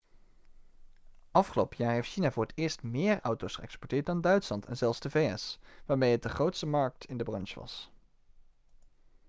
afgelopen jaar heeft china voor het eerst meer auto's geëxporteerd dan duitsland en zelfs de vs waarmee het de grootste markt in de branche was